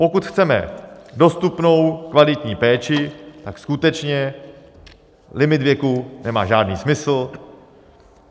Pokud chceme dostupnou kvalitní péči, tak skutečně limit věku nemá žádný smysl.